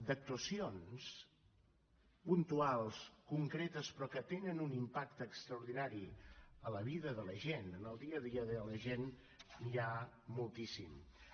d’actuacions puntuals concretes però que tenen un impacte extraordinari a la vida de la gent en el dia a dia de la gent n’hi ha moltíssimes